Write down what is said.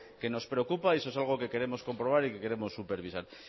que nos preocupa y eso es algo que queremos comprobar y que queremos supervisar